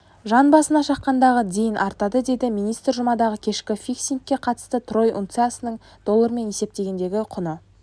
жан басына шаққандағы дейін артады деді министр жұмадағы кешкі фиксингке қатысты трой унциясының доллармен есептегендегі құны